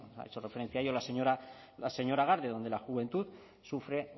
ha hecho referencia a ello la señora garde donde la juventud sufre